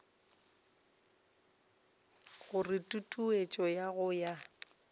gore tutuetšo ya go ya